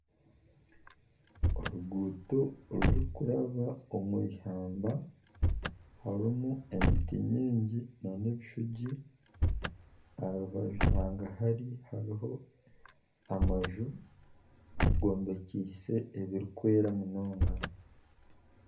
Oruguuto oruri kuraba omu ihamba harimu emiti mingi n'ebishugi aha rubaju hagahari hariho amanju gombekise ebirikwera munonga.